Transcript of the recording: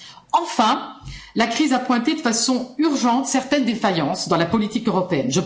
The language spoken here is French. Quatrièmement, la crise a pointé de façon urgente certaines défaillances dans la politique européenne.